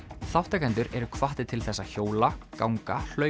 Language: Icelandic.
þátttakendur eru hvattir til þess að hjóla ganga hlaupa